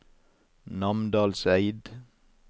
Namdalseid